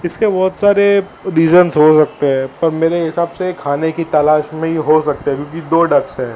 इसके बहुत सारे रीजंस हो सकते हैं पर मेरे हिसाब से खाने की तलाश में ही हो सकते क्योंकि दो डक्स है।